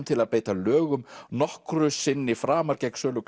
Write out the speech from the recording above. til að beita lögum nokkru sinni framar gegn sölu